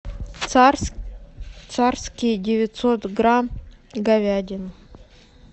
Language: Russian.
царские девятьсот грамм говядина